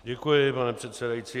Děkuji, pane předsedající.